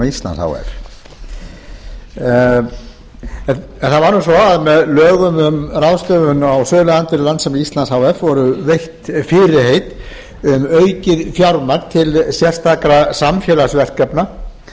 íslands h f það var nú svo að með lögum um ráðstöfun á söluandvirði landssíma íslands h f voru veitt fyrirheit um aukið fjármagn til sérstakra samfélagsverkefna